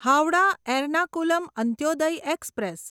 Howrah Ernakulam Antyodaya express